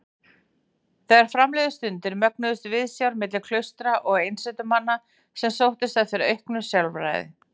Þegar fram liðu stundir mögnuðust viðsjár milli klaustra og einsetumanna sem sóttust eftir auknu sjálfræði.